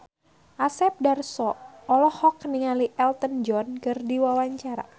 Asep Darso olohok ningali Elton John keur diwawancara